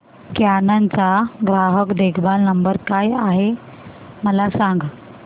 canon चा ग्राहक देखभाल नंबर काय आहे मला सांग